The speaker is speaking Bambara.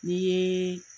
N'i ye